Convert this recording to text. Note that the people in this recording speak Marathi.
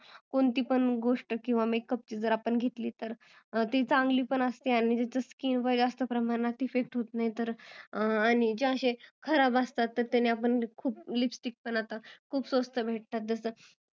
कोणती पण आपण makeup ची गोष्ट घेतली तर ती चांगली पण असते जसं की जास्त प्रमाणात effect होत नाही तर आणि जे असे खराब असतात त्याने खूप lipsticks पण आता खूप स्वस्त मिळतात